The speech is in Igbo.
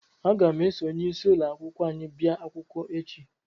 Aga m eso onyeisi ụlọ akwụkwọ anyị bịa akwụkwọ echi